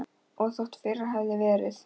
Og þótt fyrr hefði verið.